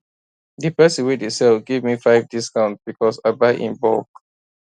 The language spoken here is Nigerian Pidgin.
d person wey dey sell give me five discount because i buy in bulk